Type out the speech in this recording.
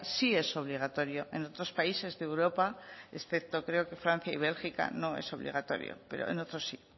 sí es obligatorio en otros países de europa excepto creo que francia y bélgica no es obligatorio pero en otros sí